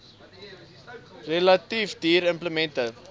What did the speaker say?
relatief duur implemente